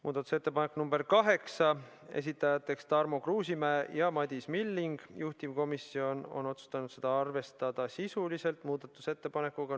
Muudatusettepanek nr 8, esitajateks on Tarmo Kruusimäe ja Madis Milling, juhtivkomisjon on otsustanud seda arvestada sisuliselt .